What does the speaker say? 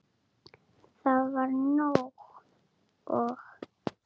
Það var nóg. og.